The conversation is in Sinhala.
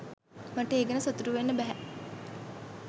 මට ඒ ගැන සතුටු වෙන්න බැහැ.